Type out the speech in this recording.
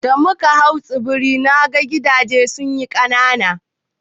Da muka hau tsibiri, mu ka ga gidaje sun yi ƙanana.